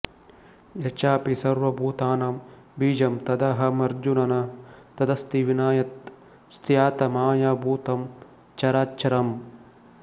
ಯಚ್ಚಾಪಿ ಸರ್ವ ಭೂತಾನಾಂ ಬೀಜಂ ತದಹಮರ್ಜುನ ನ ತದಸ್ತಿ ವಿನಾಯತ್ ಸ್ಯಾತ್ ಮಾಯಾ ಭೂತಂ ಚರಾಚರಂ